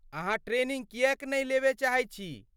अहाँ ट्रेनिंग किएक नहि लेबय चाहैत छी?